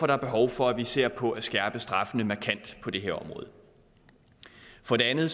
der behov for at vi ser på at skærpe straffene markant på det her område for det andet